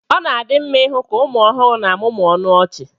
ọ na-adị mma ịhụ ka ụmụ ọhụrụ na-amụmụ ọnụ ọchị